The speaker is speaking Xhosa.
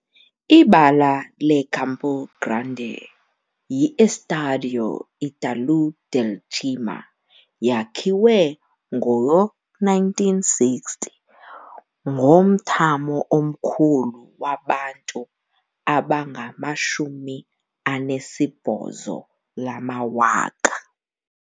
Ibala le-Campo Grande yi-Estádio Ítalo Del Cima, yakhiwa ngo-1960, ngomthamo omkhulu wabantu abangama-18,000.